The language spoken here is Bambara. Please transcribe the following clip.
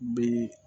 Be